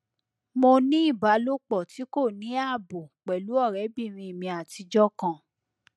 mo ní ìbálòpọ tí kò ní ààbò pẹlú ọrẹbìnrin mi àtijọ kan